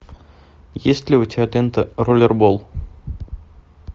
есть ли у тебя лента роллербол